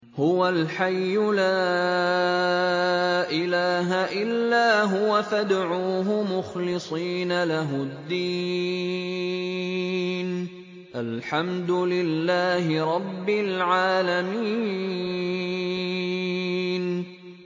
هُوَ الْحَيُّ لَا إِلَٰهَ إِلَّا هُوَ فَادْعُوهُ مُخْلِصِينَ لَهُ الدِّينَ ۗ الْحَمْدُ لِلَّهِ رَبِّ الْعَالَمِينَ